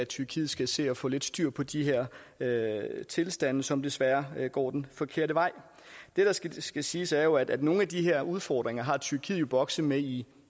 tyrkiet skal se at få lidt styr på de her tilstande som desværre går den forkerte vej det der skal skal siges er at nogle af de her udfordringer har tyrkiet jo bokset med i